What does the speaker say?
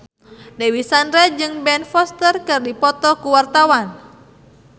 Dewi Sandra jeung Ben Foster keur dipoto ku wartawan